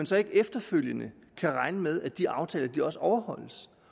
så ikke efterfølgende kan regne med at de aftaler også overholdes